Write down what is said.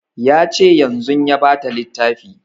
Ya ce yanzun ya ba ta littafi